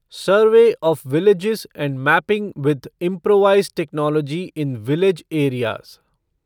survey of village and mapping with improvised technology in village areas